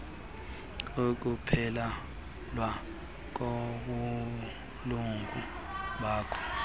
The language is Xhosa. ukuphelelwa kobulungu bakho